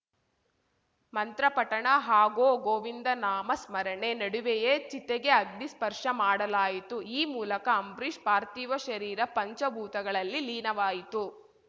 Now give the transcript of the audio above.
ಮಂತ್ರ ಪಠಣ ಹಾಗೋ ಗೋವಿಂದ ನಾಮ ಸ್ಮರಣೆ ನಡುವೆಯೇ ಚಿತೆಗೆ ಅಗ್ನಿ ಸ್ಪರ್ಶ ಮಾಡಲಾಯಿತು ಈ ಮೂಲಕ ಅಂಬ್ರೀಷ್‌ ಪಾರ್ಥಿವ ಶರೀರ ಪಂಚ ಭೂತಗಳಲ್ಲಿ ಲೀನವಾಯಿತು